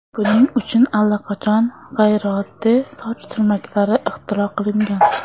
Buning uchun allaqachon g‘ayrioddiy soch turmaklari ixtiro qilingan.